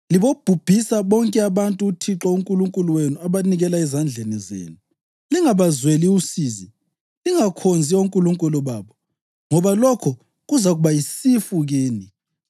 Libobhubhisa bonke abantu uThixo uNkulunkulu wenu abanikela ezandleni zenu. Lingabazweli usizi, lingakhonzi onkulunkulu babo, ngoba lokho kuzakuba yisifu kini.